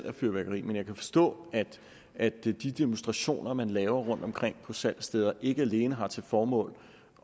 af fyrværkeri men jeg kan forstå at de demonstrationer som man laver rundtomkring på salgsstederne ikke alene har til formål